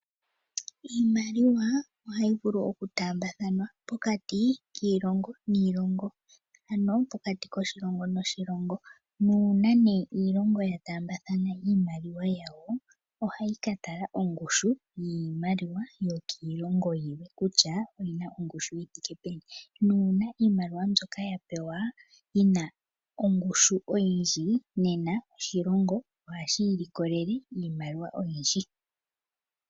Iimaliwa ohayi vulu okutaambathana pokati kiilongo niilongo. Uuna iilongo taambathana iimaliwa yawo , ohayi katala ongushu yiimaliwa yokiilongo yilwe kutya oyina ongushu yithike peni. Nuuna iimaliwa mbyoka yapewa yina ongushu oyindji nena oshilongo ohashi ilikolele iimaliwa oyindji .